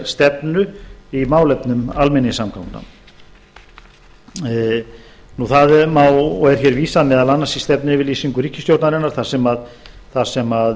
stefnu í málefnum almenningssamgangna það má og er vísað meðal annars í stefnuyfirlýsingu ríkisstjórnarinnar þar sem